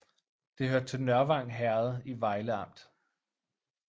Det hørte til Nørvang Herred i Vejle Amt